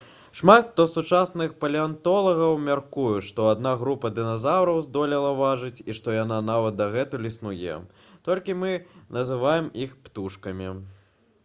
шмат хто з сучасных палеантолагаў мяркуе што адна група дыназаўраў здолела выжыць і што яна нават дагэтуль існуе толькі мы называем іх птушкамі